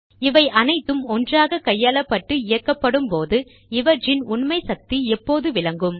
இவை அனைத்தும் ஒன்றாக கையாளப்பட்டு இயக்கப்படும் போது இவற்றின் உண்மை சக்தி எப்போது விளங்கும்